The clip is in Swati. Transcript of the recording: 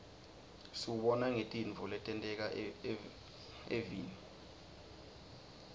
siwubona ngetintfo letenteka evfni